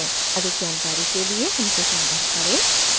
अधिक जानकारी के लिए हमसे संपर्क करें